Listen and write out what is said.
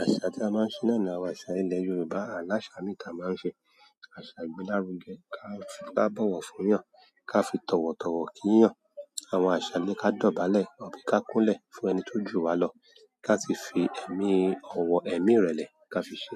Àṣà tí a máa ń ṣe náà ni àwọn àṣà ilẹ̀ Yorùbá. A láṣà míì táa màá ń ṣe. Àṣà ìgbélárugẹ, ká fi bá bọ̀wọ̀ fún'yàn, ká fi tọ̀wọ̀tọ̀wọ̀ kí'yàn, àwọn àṣà le ká dọ̀bálẹ̀, àbí ká kúnlẹ̀ fún ẹni tó jù wá lọ, ká sì fi ẹ̀mí ọ̀wọ̀, ẹ̀mí ìrẹ̀lẹ̀ ká fi ṣe.